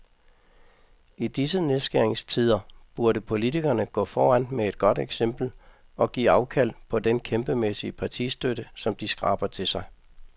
I disse nedskæringstider burde politikerne gå foran med et godt eksempel og give afkald på den kæmpemæssige partistøtte, som de skraber til sig.